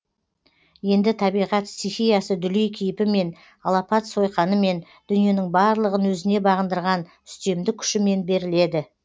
енді табиғат стихиясы дүлей кейпімен алапат сойқанымен дүниенің барлығын өзіне бағындырған үстемдік күшімен беріледі